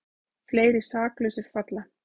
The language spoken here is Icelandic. Fleiri saklausir falla